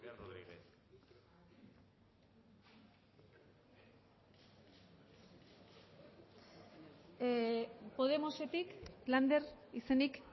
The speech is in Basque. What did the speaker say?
rodríguez podemosetik lander izenik